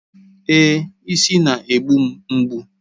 Èé, isi na-egbu m mgbu.